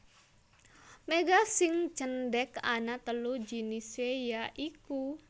Méga sing cendhék ana telu jinisé ya iku